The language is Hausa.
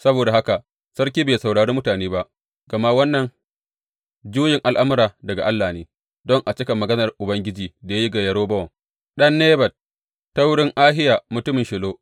Saboda haka sarki bai saurari mutane ba, gama wannan juyin al’amura daga Allah ne, don a cika maganar Ubangiji da ya yi ga Yerobowam ɗan Nebat ta wurin Ahiya mutumin Shilo.